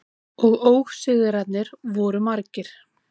Og ósigrarnir voru margir.